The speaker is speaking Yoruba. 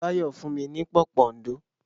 Báyọ̀ fún mi ní pòpondò.